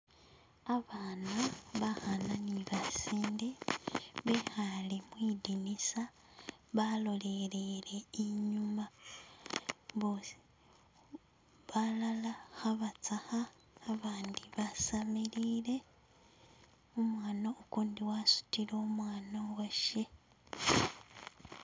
Abana bakana ni basinde bekale mwidinisa, balolelele inyuma, balala kabasaka, abandi basamilile, umwana ugundi wasutile umwana uwashe